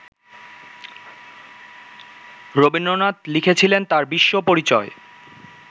রবীন্দ্রনাথ লিখেছিলেন তাঁর বিশ্বপরিচয়